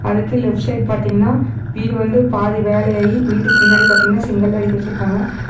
அதுக்கு left side பாத்தீங்கன்னா வீடு வந்து பாதி வேலையாயி வீட்டுக்கு முன்னாடி பாத்தீங்கன்னா செங்கல்லா அடுக்கி வச்சிருக்காங்க.